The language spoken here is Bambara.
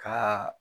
Ka